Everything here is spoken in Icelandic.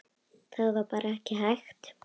Það var bara ekki hægt.